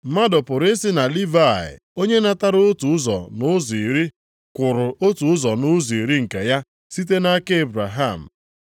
Mmadụ pụrụ isi na Livayị onye natara otu ụzọ nʼụzọ iri kwụrụ otu ụzọ nʼụzọ iri nke ya site nʼaka Ebraham.